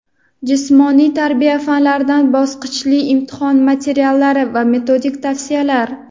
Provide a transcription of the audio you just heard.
jismoniy tarbiya fanlaridan bosqichli imtihon materiallari va metodik tavsiyalar..